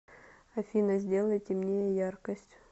афина сделай темнее яркость